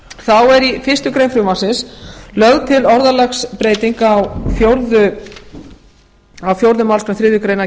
þá er í fyrstu grein frumvarpsins lögð til orðalagsbreyting á fjórðu málsgrein þriðju grein